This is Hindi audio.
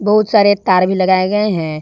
बहुत सारे तार भी लगाए गए हैं।